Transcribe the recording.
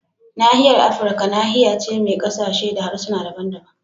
Nahiyar Afirka nahiya ce mai kasashe da harsuna daban-daban